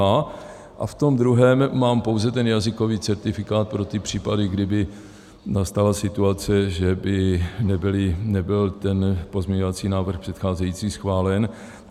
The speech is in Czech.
A v tom druhém mám pouze ten jazykový certifikát pro ty případy, kdyby nastala situace, že by nebyl ten pozměňovací návrh předcházející schválen.